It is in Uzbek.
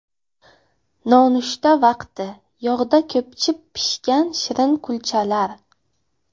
Nonushta vaqti: Yog‘da ko‘pchib pishgan shirin kulchalar.